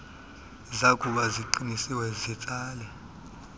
zakuba ziqinisiwe zitsale